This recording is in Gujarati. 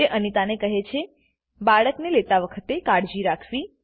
તે અનિતાને કહે છે બાળકને લેતા વખતે કાળજી રાખવી